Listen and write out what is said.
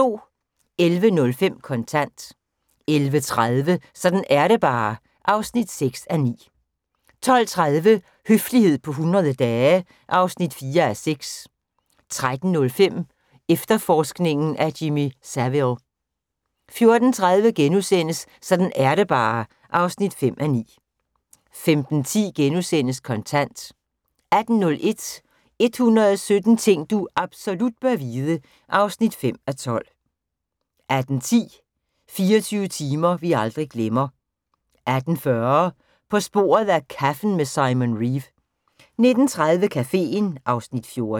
11:05: Kontant 11:30: Sådan er det bare (6:9) 12:30: Høflighed på 100 dage (4:6) 13:05: Efterforskningen af Jimmy Savile 14:30: Sådan er det bare (5:9)* 15:10: Kontant * 18:01: 117 ting du absolut bør vide (5:12) 18:10: 24 timer vi aldrig glemmer 18:40: På sporet af kaffen med Simon Reeve 19:30: Caféen (Afs. 14)